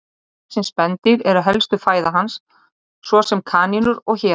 Smávaxin spendýr eru helsta fæða hans, svo sem kanínur og hérar.